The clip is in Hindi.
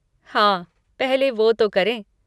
हाँ, पहले वो तो करें।